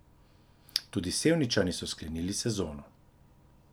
Tudi Sevničani so sklenili sezono.